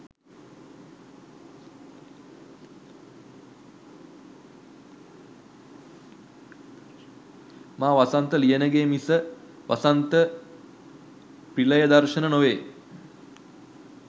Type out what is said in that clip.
මා වසන්ත ලියනගේ මිස වසන්ත ප්‍රිලයදර්ශන නොවේ